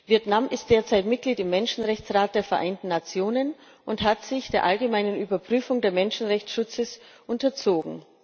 Vietnam ist derzeit Mitglied im Menschenrechtsrat der Vereinten Nationen und hat sich der allgemeinen Überprüfung des Menschenrechtsschutzes unterzogen.